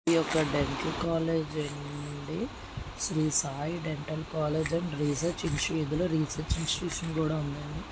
Dental college అండి Shri Sai dental college and research institution ఇందులో research institution కూడా ఉందండి.